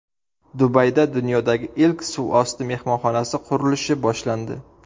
Dubayda dunyodagi ilk suvosti mehmonxonasi qurilishi boshlandi.